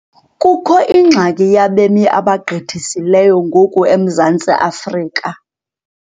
Kukho ingxaki yabemi abagqithisileyo ngoku eMzantsi Afrika.